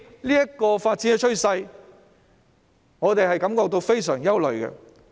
這個發展趨勢令我們感到非常憂慮。